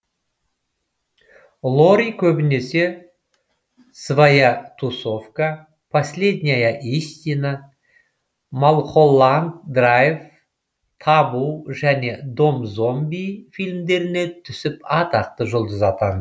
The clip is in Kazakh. лори көбінесе своя тусовка последняя истина малхолланд драйв табу және дом зомби фильмдеріне түсіп атақты жұлдыз атанды